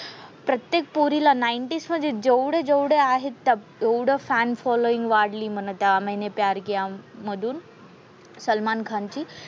प्रत्येक पोरीला नाईंटीज मधे जेवढे जेवढे आहेत ते एवढं फॅन फॉलोविंग वाढली म्हणा त्या मैंने प्यार किया मधून. सलमान खानची.